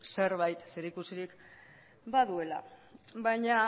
zerbait zerikusirik baduela baina